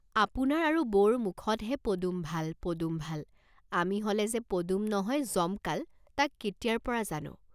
আপোনাৰ আৰু বৌৰ মুখতহে 'পদুম ভাল, পদুম ভাল' আমি হলে যে 'পদুম নহয় যমকাল' তাক কেতিয়াৰ পৰা জানো।